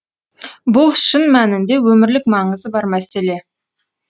бұл шын мәнінде өмірлік маңызы бар мәселе